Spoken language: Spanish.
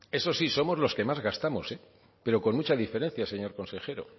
eso sí somos los que más gastamos pero con mucha diferencia señor consejero